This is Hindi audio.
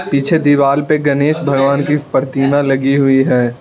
पीछे दीवार पे गणेश भगवान की प्रतिमा लगी हुई है।